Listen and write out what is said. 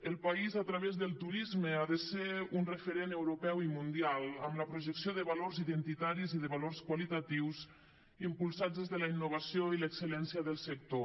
el país a través del turisme ha de ser un referent europeu i mundial amb la projecció de valors identitaris i de valors qualitatius impulsats des de la innovació i l’excel·lència del sector